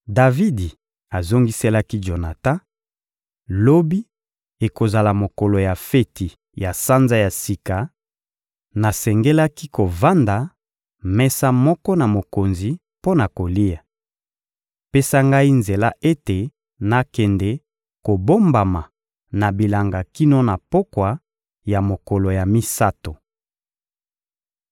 Davidi azongiselaki Jonatan: — Lobi ekozala mokolo ya feti ya Sanza ya Sika; nasengelaki kovanda mesa moko na mokonzi mpo na kolia. Pesa ngai nzela ete nakende kobombama na bilanga kino na pokwa ya mokolo ya misato.